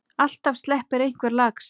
Alltaf sleppi einhver lax.